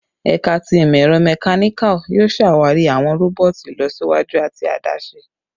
Ẹka ti Imọ-ẹrọ Mechanical yoo ṣawari awọn roboti ilọsiwaju ati adaṣe